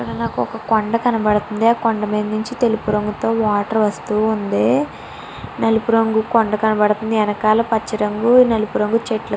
ఇక్కడ నాకు ఒక కొండ కనబడుతూవుంది. ఆ కొండ పైనించి తెలుప రంగు తో వాటర్ వస్తూ ఉంది. నలుపు రుంగు కొండ కనబడుతుంది వెనకాల పచ్చ రుంగు నిలుపు నలుపు రుంగు చెట్టు --